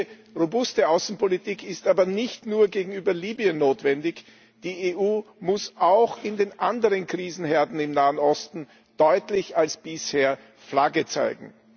Diese robuste Außenpolitik ist aber nicht nur gegenüber Libyen notwendig, die EU muss auch in den anderen Krisenherden im Nahen Osten deutlicher als bisher Flagge zeigen.